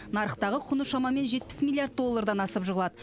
нарықтағы құны шамамен жетпіс миллиард доллардан асып жығылады